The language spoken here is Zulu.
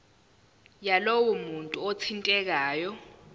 yalowo muntu othintekayo